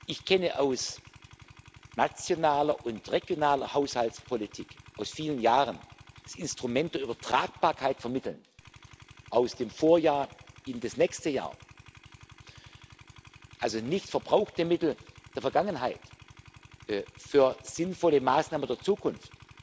Ich kenne aus nationaler und regionaler Haushaltspolitik aus vielen Jahren das Instrument der Übertragbarkeit von Mitteln aus dem Vorjahr in das nächste Jahr also nicht verbrauchte Mittel der Vergangenheit für sinnvolle Maßnahmen der Zukunft